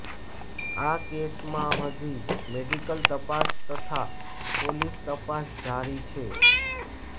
આ કેસમાં હજી મેડિકલ તપાસ તથા પોલીસ તપાસ જારી છે